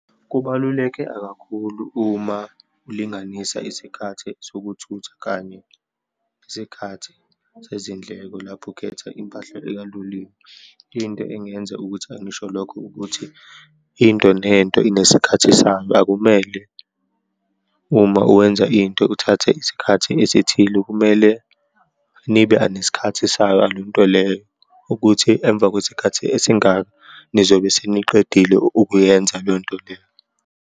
Kubaluleke akakhulu uma ulinganisa isikhathi sokuthutha kanye nesikhathi sezindleko lapho ukhetha impahla ekaloliwe. Into engenza ukuthi angisho lokho, ukuthi into nento inesikhathi sayo, akumele uma uwenza into uthathe isikhathi esithile, kumele nibe anesikhathi sayo yale nto leyo ukuthi emva kwesikhathi esingaka nizobe seniqedile ukuyenza leyo nto leyo.